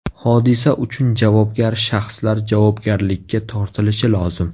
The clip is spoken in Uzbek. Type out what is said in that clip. Hodisa uchun javobgar shaxslar javobgarlikka tortilishi lozim.